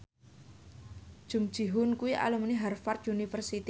Jung Ji Hoon kuwi alumni Harvard university